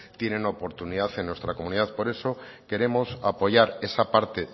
tienen la oportunidad en nuestra comunidad por eso queremos apoyar esa parte